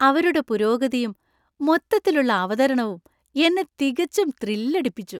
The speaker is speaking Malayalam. അവരുടെ പുരോഗതിയും മൊത്തത്തിലുള്ള അവതരണവും എന്നെ തികച്ചും ത്രില്ലടിപ്പിച്ചു.